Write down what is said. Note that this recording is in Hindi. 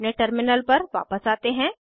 अपने टर्मिनल पर वापस आते हैं